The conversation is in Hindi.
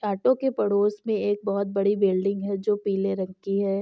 टटो के पड़ोस में एक बहुत बड़ी बिल्डिंग है जो पीले रंग की है।